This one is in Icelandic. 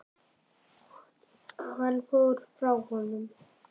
Hann fór frá honum.